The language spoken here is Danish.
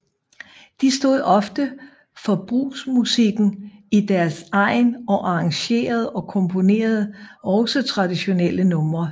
De stod ofte for brugsmusikken i deres egn og arrangerede og komponerede også traditionelle numre